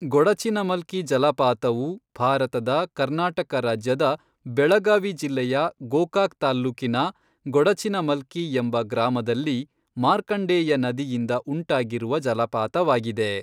ಗೊಡಚಿನಮಲ್ಕಿ ಜಲಪಾತವು ಭಾರತದ ಕರ್ನಾಟಕ ರಾಜ್ಯದ ಬೆಳಗಾವಿ ಜಿಲ್ಲೆಯ ಗೋಕಾಕ್ ತಾಲ್ಲೂಕಿನ ಗೊಡಚಿನಮಲ್ಕಿ ಎಂಬ ಗ್ರಾಮದಲ್ಲಿ ಮಾರ್ಕಂಡೇಯ ನದಿಯಿಂದ ಉಂಟಾಗಿರುವ ಜಲಪಾತವಾಗಿದೆ.